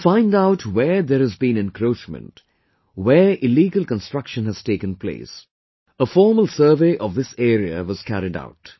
To find out where there has been encroachment, where illegal construction has taken place, a formal survey of this area was carried out